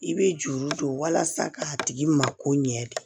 I bɛ juru don walasa k'a tigi mako ɲɛ